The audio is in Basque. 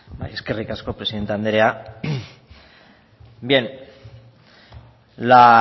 bai eskerrik asko presidente andrea bien la